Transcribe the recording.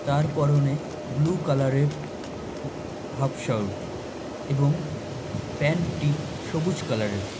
তার পরনে ব্লু কালারের হাফ শার্ট এবং .প্যান্ট টি সবুজ কালারের